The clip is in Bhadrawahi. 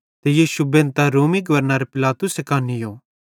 ते यीशु बेंधतां नीयो ते रोमी गवर्नर पिलातुसे कां नीयो